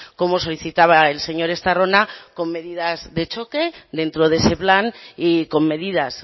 como solicitaba el señor estarrona con medidas de choque dentro de ese plan y con medidas